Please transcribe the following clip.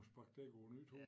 Sparke dæk på æ nye tog